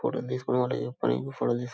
ఫోటోలు తీసుకునే వాళ్ళు ఫోటోలు --